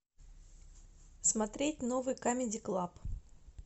смотреть новый камеди клаб